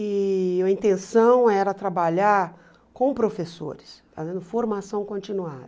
E a intenção era trabalhar com professores, fazendo formação continuada.